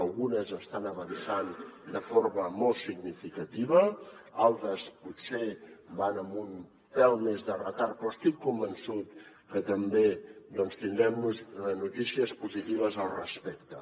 algunes estan avançant de forma molt significativa d’altres potser van amb un pèl més de retard però estic convençut que també doncs tindrem notícies positives al respecte